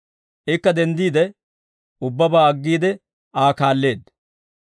Ikka denddiide ubbabaa aggiide Aa kaalleedda.